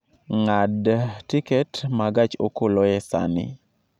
ng'ad tiket ma gach okoloe saa ni